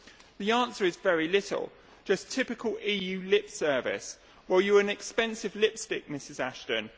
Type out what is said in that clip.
The answer is very little, just typical EU lip service or you are an expensive lipstick, Mrs Ashton.